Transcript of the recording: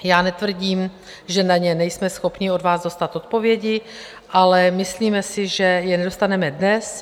Já netvrdím, že na ně nejsme schopni od vás dostat odpovědi, ale myslíme si, že je nedostaneme dnes.